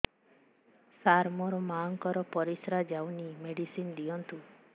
ସାର ମୋର ମାଆଙ୍କର ପରିସ୍ରା ଯାଉନି ମେଡିସିନ ଦିଅନ୍ତୁ